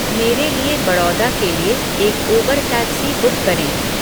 मेरे लिए बड़ौदा के लिए एक उबर टैक्सी बुक करें